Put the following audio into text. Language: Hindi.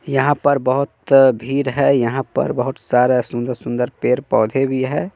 यहां पर बहोत्त भीर है यहां पर बहोट सारा सुन्दर-सुन्दर पेर पौधे भी है।